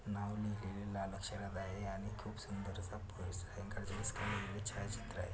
नाव लिहलेल लाल अक्षरात आहे आणि खुप सुंदर असा छायाचित्र आहे.